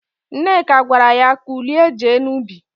Nneka gwara ya, "kulie jee n'ubi"!